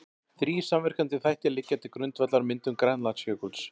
Þrír samverkandi þættir liggja til grundvallar myndun Grænlandsjökuls.